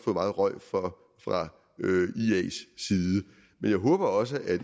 meget røg for fra ias side men jeg håber også at